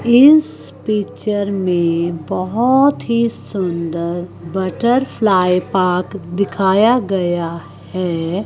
इस पिक्चर में बहोत ही सुंदर बटरफ्लाई पार्क दिखाया गया है।